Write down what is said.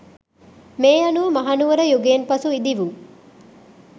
මේ අනුව මහනුවර යුගයෙන් පසු ඉදිවූ